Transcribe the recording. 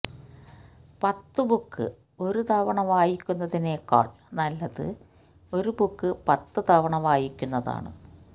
പത്ത് ബുക്ക് ഒരു തവണ വായിക്കുന്നതിനേക്കാള് നല്ലത് ഒരു ബുക്ക് പത്തു തവണ വായിക്കുന്നതാണ്